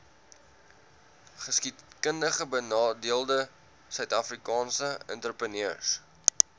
geskiedkundigbenadeelde suidafrikaanse entrepreneurs